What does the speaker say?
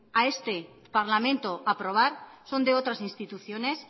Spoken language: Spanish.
a este parlamento aprobar son de otras instituciones